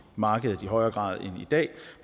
markedet i højere grad end i dag